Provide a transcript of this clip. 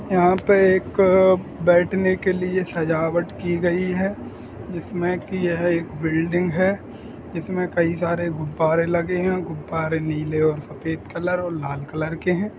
यहाँ पे एक अ बैठने के लिए सजावट की गई है। इसमें की यह एक बिल्डिंग है। इसमें कई सारे गुब्बारे लगे हैं। गुब्बारे नीले और सफेद कलर और लाल कलर के हैं।